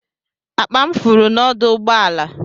Akpa m furu n'ọdụ ụgbọ ala.